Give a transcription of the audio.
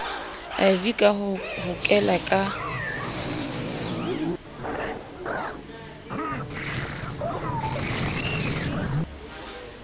iv ka ho hokela ka